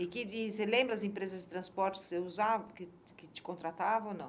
E você lembra as empresas de transporte que você usava, que que te contratavam ou não?